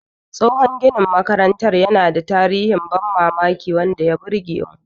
Tsohon ginin makarantar yana da tarihin ban mamaki wanda ya burge mu.